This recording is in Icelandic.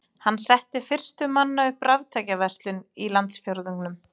Hann setti fyrstur manna upp raftækjaverslun í landsfjórðungnum.